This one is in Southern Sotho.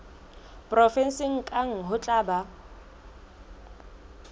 provenseng kang ho tla ba